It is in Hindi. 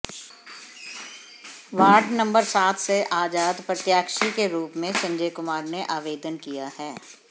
वार्ड नंबर सात से आजाद प्रत्याशी के रूप में संजय कुमार ने आवेदन किया है